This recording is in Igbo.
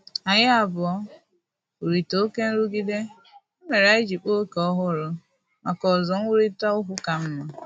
Anyị abụọ hụrụ oke nrụgide, ya mere anyị ji kpaa ókè ọhụrụ maka ozo nkwurịta okwu ka mma